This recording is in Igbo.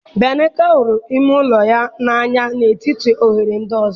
Bianka hụrụ ime ụlọ ya n'anya n'etiti oghere ndị ọzọ.